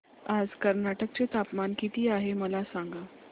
आज कर्नाटक चे तापमान किती आहे मला सांगा